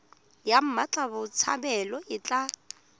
ya mmatla botshabelo e tla